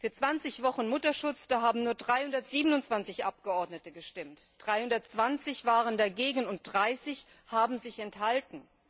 Für 20 Wochen Mutterschutz haben nur 327 Abgeordnete gestimmt, 320 waren dagegen und 30 haben sich enthalten.